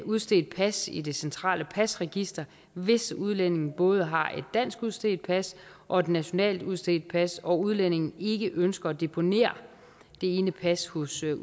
udstedt pas i det centrale pasregister hvis udlændingen både har et dansk udstedt pas og et nationalt udstedt pas og udlændingen ikke ønsker at deponere det ene pas hos